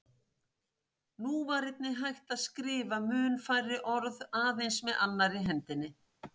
Nú var einnig hægt að skrifa mun færri orð aðeins með annarri hendinni.